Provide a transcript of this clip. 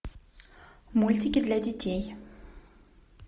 мультики для детей